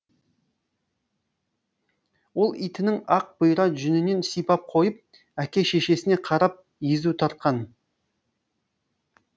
ол итінің ақ бұйра жүнінен сипап қойып әке шешесіне қарап езу тартқан